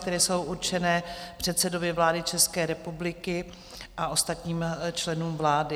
které jsou určené předsedovi vlády České republiky a ostatním členům vlády.